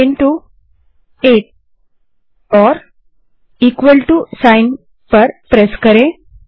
5 8 type करें और चिन्ह प्रेस करें